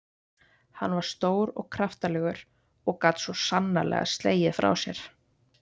Hann var stór og kraftalegur og gat svo sannarlega slegið frá sér.